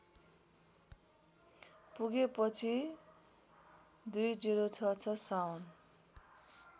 पुगेपछि २०६६ श्रावण